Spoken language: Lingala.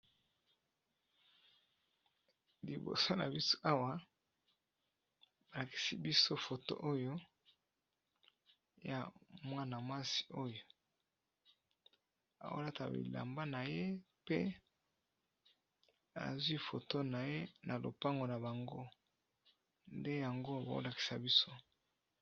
Liboso na biso awa ba lakisi biso foto oyo ya mwana mwasi, oyo ao lata bilamba na ye pe azwi foto na ye na lopango na bango nde yango bao lakisa biso.